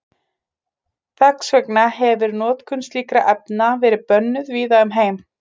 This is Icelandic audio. Þess vegna hefir notkun slíkra efna verið bönnuð víða um heim.